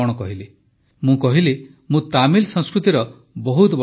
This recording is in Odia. ମୁଁ ତାମିଲ ସଂସ୍କୃତିର ବହୁତ ବଡ଼ ପ୍ରଶଂସକ